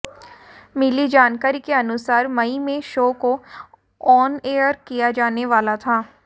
मिली जानकारी के अनुसार मई में शो को ऑन एयर किया जाने वाला था